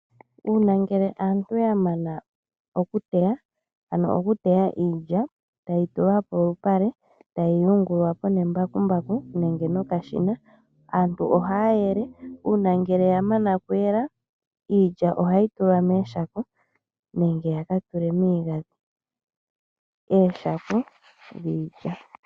Uuna ngele aantu ya mana oku teya, ano oku teya iilya taye yi tula polupale taye yi yungula po nembakumbaku nenge nokashina, aantu oha ya yele. Uuna ngele ya mana oku yela, iilya oha ye yi tula mooshako nenge ya ka tule miigandhi. Ooshako dhiilya.